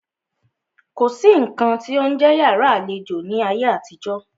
Kò sí nǹkan tí ó ń jẹ́ yàrá àlejò ní ayé àtijó.